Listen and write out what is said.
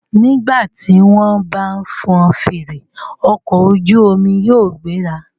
Nígbà tí wọ́n bá fọn fèrè, ọkọ̀ ojú omi yóò gbéra.